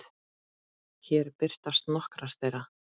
Hér birtast nokkrar þeirra.